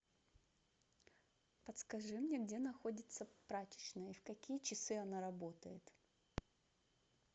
подскажи мне где находится прачечная и в какие часы она работает